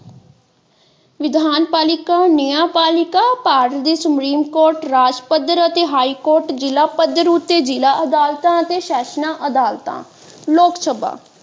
ਵਿਧਾਨਪਾਲਿਕਾ ਨਿਆਂਪਾਲਿਕਾ ਭਾਰਤ ਦੀ supreme court ਰਾਜ ਪੱਧਰ ਅਤੇ ਹਾਈ ਕੋਰਟ ਜ਼ਿਲ੍ਹਾ ਪੱਧਰ ਉੱਤੇ ਜ਼ਿਲ੍ਹਾ ਅਦਾਲਤਾਂ ਅਤੇ ਸੈਸ਼ਨਾਂ ਅਦਾਲਤਾਂ ਲੋਕਸਭਾ।